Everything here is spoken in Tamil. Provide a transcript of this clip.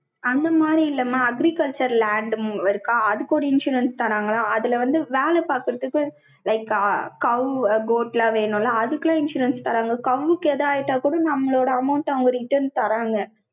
அந்த மாதிரி இல்லாம, agriculture land இருக்கா? அதுக்கு ஒரு insurance தராங்களாம். அதுல வந்து, வேலை பார்க்கிறதுக்கு, like, cow, goat லாம் வேணும்ல? அதுக்கெல்லாம், insurance தராங்க. cow க்கு ஏதா ஆயிட்ட கூட, நம்மளோட amount அ, அவங்க return தர்றாங்க.